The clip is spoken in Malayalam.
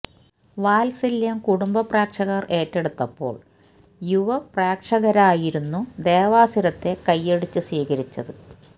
വാത്സല്യം കുടുംബ പ്രേക്ഷകര് ഏറ്റെടുത്തപ്പോള് യുവ പ്രേക്ഷകരായിരുന്നു ദേവാസുരത്തെ കയ്യടിച്ച് സ്വീകരിച്ചത്